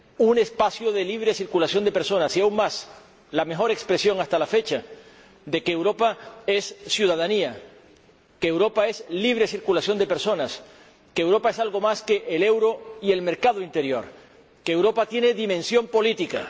un espacio de libre circulación de personas, y aun más, la mejor expresión hasta la fecha de que Europa es ciudadanía, de que Europa es libre circulación de personas, de que Europa es algo más que el euro y el mercado interior y de que Europa tiene dimensión política.